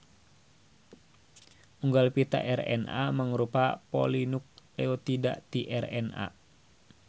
Unggal pita RNA mangrupa polinukleotida ti RNA.